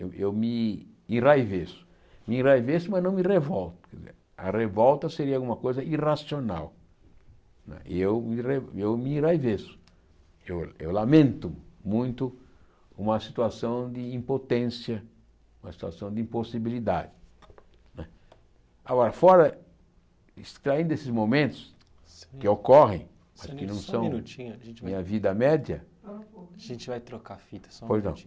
eu eu me enraiveço me enraiveço mas não me revolto a revolta seria alguma coisa irracional eu me enra eu me enraiveço eu lamento muito uma situação de impotência uma situação de impossibilidade né agora fora extraindo esses momentos que ocorrem que não são Só um minutinho Minha vida média A gente vai trocar a fita só um minutinho Pois não